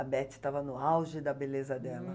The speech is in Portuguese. A Betty estava no auge da beleza dela. Hm...